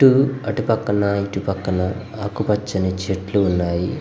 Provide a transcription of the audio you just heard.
ట్టూరు అటు పక్కన ఇటు పక్కన ఆకు పచ్చని చెట్లు ఉన్నాయి.